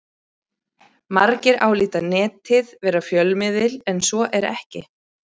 Margir álíta Netið vera fjölmiðil en svo er ekki.